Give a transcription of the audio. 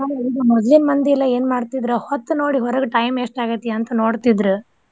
ಮೊದ್ಲಿನ್ ಮಂದಿ ಎಲ್ಲ ಏನ್ ಮಾಡ್ತಿದ್ರ ಹೊತ್ತ್ ನೋಡಿ ಹೊರಗ time ಎಷ್ಟ್ ಆಗೇತಿ ಅಂತ ನೋಡ್ತಿದ್ರ್.